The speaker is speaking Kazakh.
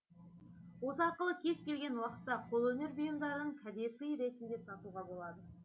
осы арқылы кез келген уақытта қолөнер бұйымдарын кәдесый ретінде сатуға болады